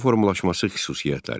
Millətin formalaşması xüsusiyyətləri.